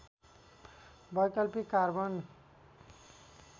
वैकल्पिक कार्बन